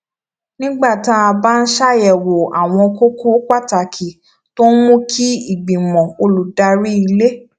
nígbà tá a bá ń ṣàyèwò àwọn kókó pàtàkì tó ń mú kí ìgbìmò olùdarí ilé